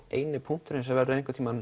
eini punkturinn sem verður